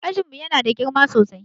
Ajin mu Yana da girma sosai